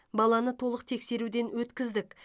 баланы толық тексеруден өткіздік